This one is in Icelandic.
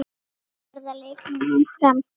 Verða leikmenn áfram?